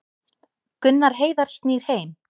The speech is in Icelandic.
Gunnar Heiðar snýr heim